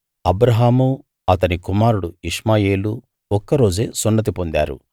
అబ్రాహామూ అతని కుమారుడు ఇష్మాయేలూ ఒక్కరోజే సున్నతి పొందారు